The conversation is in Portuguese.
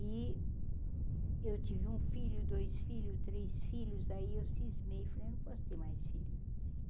E eu tive um filho, dois filho, três filhos, aí eu cismei e falei, eu não posso ter mais filho.